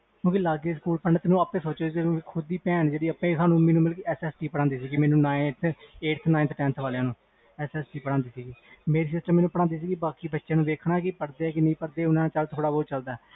ਕਿਉਕਿ ਲਗੇ ਸਕੂਲ ਪੈਂਦਾ ਸੀ ਤੇ ਮੇਰੀ ਖੁਦ ਦੀ ਭੈਣ ਪੜ੍ਹਾਦੀ ਸੀ ਮੈਨੂੰ S. S. T nineth tenth ਵਾਲਿਆਂ ਨੂੰ ਪੜ੍ਹਾਦੀ ਸੀ ਮੇਰੀ sister ਮੈਨੂੰ ਪੜ੍ਹਾਦੀ ਤੇ ਬਾਕੀ ਬੱਚਿਆਂ ਨੂੰ ਦੇਖਣ ਪੜਦੇ ਜਾ ਨਹੀਂ